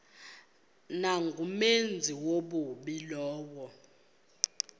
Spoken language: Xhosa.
nangumenzi wobubi lowo